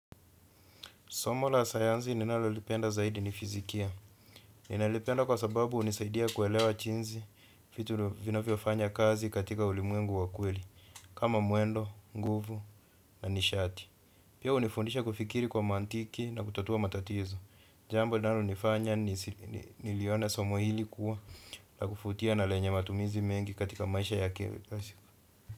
Somo la sayansi ninalolipenda zaidi ni fizikia. Ninalipenda kwa sababu hunisaidia kuelewa jinsi vitu vinavyofanya kazi katika ulimwengu wa kweli. Kama mwendo, nguvu na nishati. Pia hunifundisha kufikiri kwa mantiki na kutatua matatizo. Jambo linalonifanya nilione somo hili kuwa la kuvutia na lenye matumizi mengi katika maisha ya kesho.